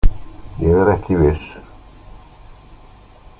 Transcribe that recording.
Ég er ekki viss.